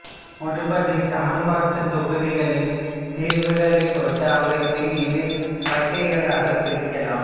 ஒருபடிச் சமன்பாட்டுத் தொகுதிகளின் தீர்வுகளைப் பொறுத்து அவற்றை இரு வகைகளாகப் பிரிக்கலாம்